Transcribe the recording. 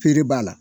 Pere b'a la